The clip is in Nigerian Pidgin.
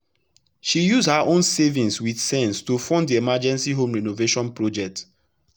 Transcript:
she use her own savings with sense to fund the emergency home renovation project.